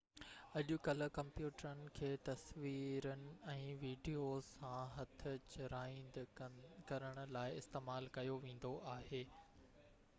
اڄڪلهه ڪمپيوٽرن کي تصويرن ۽ وڊيوز سان هٿ چراند ڪرڻ لاءِ استعمال ڪيو ويندو آهي